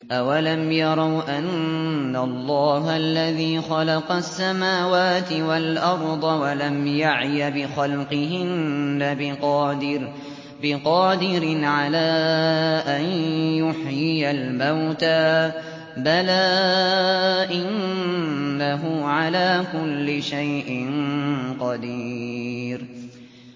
أَوَلَمْ يَرَوْا أَنَّ اللَّهَ الَّذِي خَلَقَ السَّمَاوَاتِ وَالْأَرْضَ وَلَمْ يَعْيَ بِخَلْقِهِنَّ بِقَادِرٍ عَلَىٰ أَن يُحْيِيَ الْمَوْتَىٰ ۚ بَلَىٰ إِنَّهُ عَلَىٰ كُلِّ شَيْءٍ قَدِيرٌ